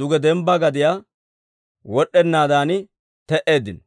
duge dembba gadiyaa wod'd'ennaadan te"eeddino.